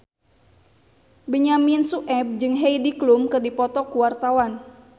Benyamin Sueb jeung Heidi Klum keur dipoto ku wartawan